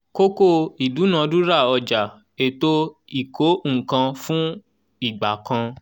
kókó ìdúnadúrà ọjà ètò ìkó-nǹkan-fún- igbà kan.